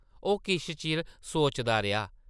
ओह् किश चिर सोचदा रेहा ।